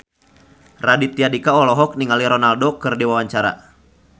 Raditya Dika olohok ningali Ronaldo keur diwawancara